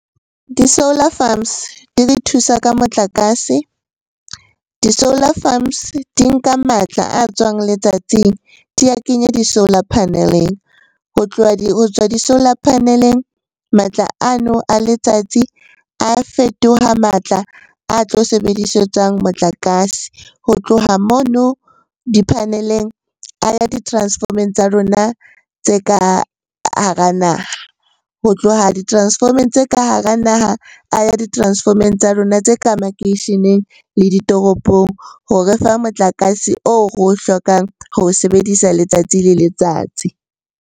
Di-solar farms di re thusa ka motlakase, di-solar farms di nka matla a tswang letsatsing di a kenye di-solar panel-eng. Ho tloha, ho tswa di-solar panel-eng, matla ano a letsatsi a fetoha matla a tlo sebedisetswa motlakase. Ho tloha mono di-panel-eng a ya di-transform-eng tsa rona tse ka hara naha. Ho tloha di-transform-eng tse ka hara naha a ya di-transform-eng tsa lona tse ka makeisheneng le ditoropong ho re fa motlakase oo re o hlokang ho o sebedisa letsatsi le letsatsi.